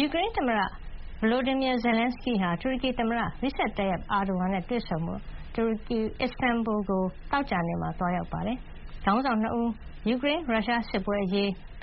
ယူကရိန်းသမ္မတ Volodymyr Zelenskyy ဟာ တူရကီ သမ္မတ Recep Tayyip Erdogan နဲ့ တွေ့ဆုံဖို့ အစ္စတန်ဘူလ် ကို သောကြာနေ့မှာ သွားရောက်နေပါတယ်။ ခေါင်းဆောင် ၂ ဦးဟာ ယူကရိန်း- ပ